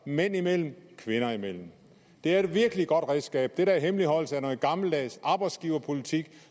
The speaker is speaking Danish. mænd imellem og kvinder imellem det er et virkelig godt redskab den der hemmeligholdelse er en gammeldags arbejdsgiverpolitik